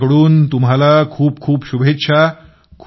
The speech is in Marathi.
माझ्या कडून तुम्हाला खूप शुभेच्छा